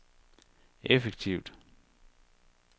effektivt